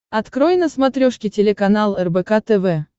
открой на смотрешке телеканал рбк тв